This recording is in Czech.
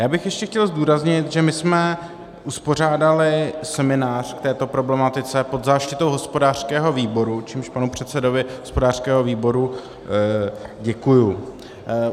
Já bych ještě chtěl zdůraznit, že my jsme uspořádali seminář k této problematice pod záštitou hospodářského výboru, čímž panu předsedovi hospodářského výboru děkuju.